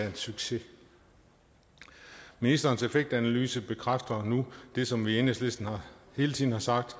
en succes ministerens effektanalyse bekræfter nu det som vi i enhedslisten hele tiden har sagt